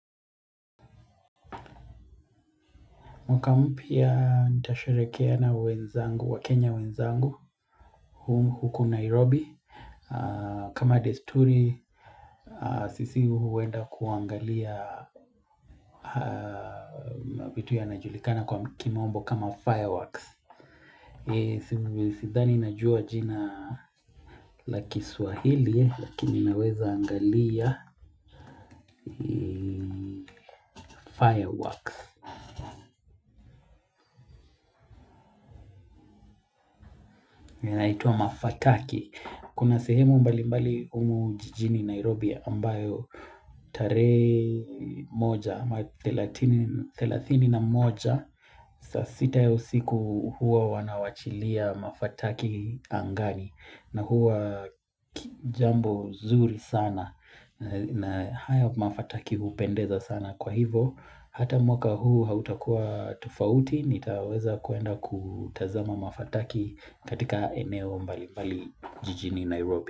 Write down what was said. Mwaka mpya nitasharekea na wenzangu wa Kenya wenzangu huku Nairobi kama desturi sisi huenda kuangalia vitu yanajulikana kwa kimombo kama fireworks sidhani najua jina la swahili lakini naweza angalia fireworks Naitwa mafakaki Kuna sehemu mbali mbali humu jijini Nairobi ambayo tarehe moja ama 30 na moja sa sita yo siku huwa wanawachilia mafataki angani na huwa jambo zuri sana na haya mafataki hupendeza sana kwa hivo Hata mwaka huu hautakuwa tofauti nitaweza kwenda kutazama mafataki katika eneo mbali mbali jijini Nairobi.